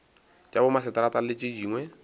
tša bomaseterata le tše dingwe